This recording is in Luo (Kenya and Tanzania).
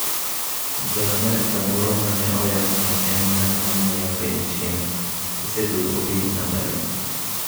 Ja Amerka moro ma ne oyang’ ni en ng’at ma ng’iyo piny China, oseduogo piny Amerka.